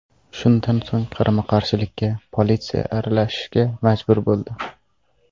Shundan so‘ng qarama-qarshilikka politsiya aralashishga majbur bo‘ldi.